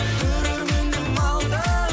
көрерменім алтын